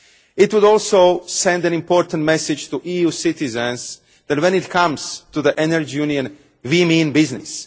It would also send an important message to EU citizens that, when it comes to the Energy Union, we mean business.